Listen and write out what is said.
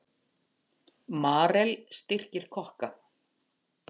Marel styrkir kokka